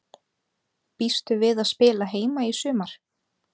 Býstu við að spila heima í sumar?